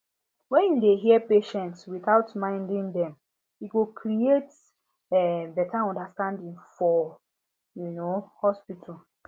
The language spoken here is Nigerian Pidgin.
when you dey hear patients without minding dem e go create um better understanding for um hospital